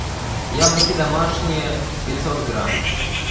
яблоки домашние пятьсот грамм